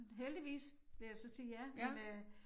Heldigvis vil jeg så sige ja men øh